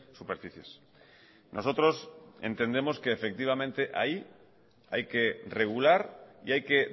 superficies nosotros entendemos que efectivamente ahí hay que regular y hay que